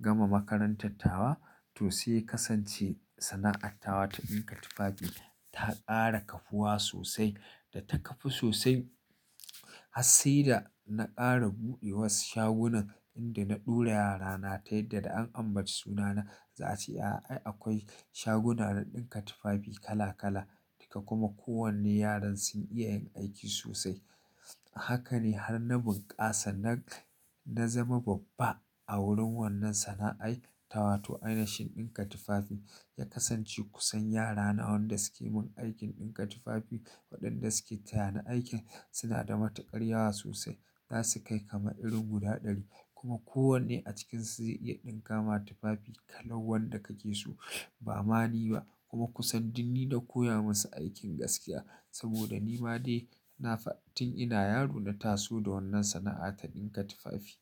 gama makarantar tawa. To sai ya kasance sana'attawa ta ɗinka tufafi ta ƙara kafuwa sosai da ta kafu sosai. Hassai da na ƙara buɗe wasu shagunan inda na ɗora yarana ta yadda da an ambaci sunana za a ce, "A'a akwai shaguna na ɗinka tufafi kala kala." Duka kuma kowanne yaran sun iya yin aiki sosai. Haka ne har na bunƙasa na, na zama babba a wurin wannan sana'ai tawa. To ainihin ɗinka tufafi ya kasance kusan yara na wanda suke mun aikin ɗinka tufafi. Waɗanda suke tayani aikin suna da matuƙar yawa sosai. Za su kai kamar irin guda ɗari kuma kowanne a cikinsu zai iya ɗinkama tufafi kala wanda kake so ba mani ba. Kuma kusan duk ni na koya masa aikin gaskiya saboda ni ma dai na fa tun ina yaro na taso da wannan sana'a ta ɗinka tufafi.